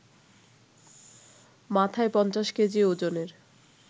মাথায় ৫০ কেজি ওজনের